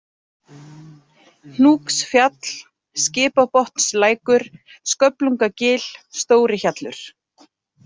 Hnúksfjall, Skipabotnslækur, Sköflungagil, Stórihjallur